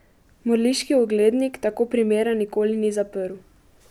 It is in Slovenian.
Mrliški oglednik tako primera nikoli ni zaprl.